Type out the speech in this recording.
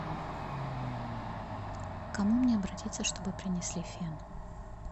к кому мне обратиться чтобы принесли фен